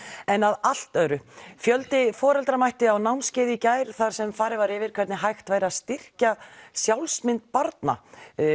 en að allt öðru fjöldi foreldra mætti á námskeið í gær þar sem farið var yfir hvernig hægt væri að styrkja sjálfsmynd barna